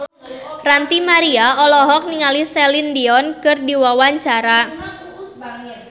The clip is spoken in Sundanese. Ranty Maria olohok ningali Celine Dion keur diwawancara